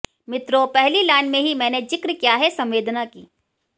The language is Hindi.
मित्रों पहली लाइन में ही मैंने जिक्र किया है संवेदना की